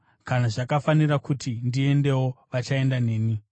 Kana zvakafanira kuti ndiendewo, vachaenda neni.